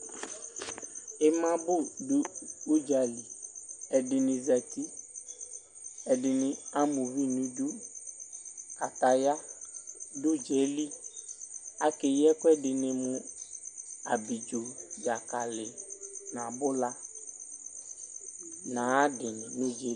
imabu du uɖzaliɛdini zati, ɛdini ama uvi nu idu kataya du uɖza yɛ li Akeyi ɛku ɛdini mu: Abiɖzo, dzakali, nu abula nu ayiʋ adini